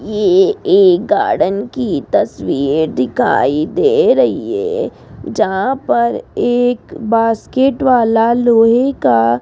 ये एक गार्डन की तस्वीर दिखाई दे रही है जहां पर एक बास्केट वाला लोहे का --